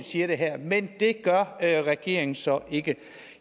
siger det her men det gør regeringen så ikke